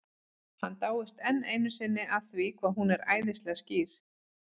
Hann dáist enn einu sinni að því hvað hún er æðislega skýr.